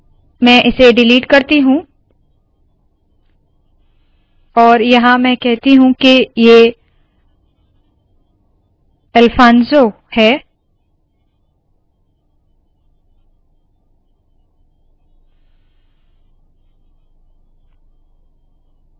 मैं इसे डिलीट करती हूँऔर यहाँ मैं कहती हूँ के ये अलफानसो है